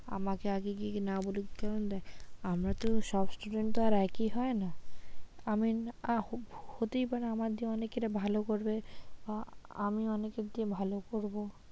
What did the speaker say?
আমাকে আগে গিয়ে না বলুক কারন দেখ আমরা তো সব student তো আর একই হয়না? আমি, হতেই পারে আমার দিয়ে অনেকে এটা ভালো করবে বা আমি অনেকের থেকে ভালো করবো,